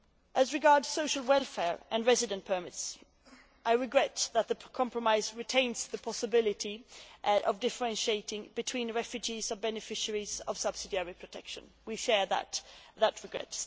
As regards social welfare and residence permits, I regret that the compromise retains the possibility of differentiating between refugees and beneficiaries of subsidiary protection. We share that regret.